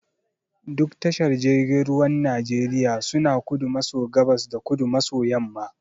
Duk tashar jirgin ruwan Najeriya suna kudu maso gabas da kudu maso yamma.